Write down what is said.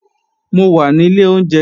Mo wà ní ilé oúnjẹ